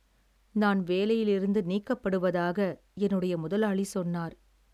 நான் வேலையிலிருந்து நீக்கப்படுவதாக என்னுடைய முதலாளி சொன்னார்,